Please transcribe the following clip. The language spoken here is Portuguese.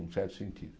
num certo sentido.